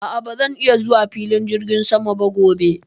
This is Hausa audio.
a'a baran iya zuwa filin jirgin sama ba gobe